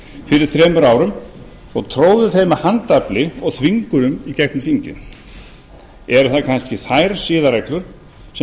fyrir þremur árum og stóðu þeim með handafli og þvingunum í gegnum þingið eru það kannski þær siðareglur sem